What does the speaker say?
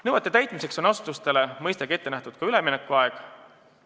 Nõuete täitmiseks on asutustele mõistagi ette nähtud ka üleminekuaeg.